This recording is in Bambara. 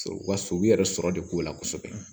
Wa sobi yɛrɛ sɔrɔ de ko la kosɛbɛ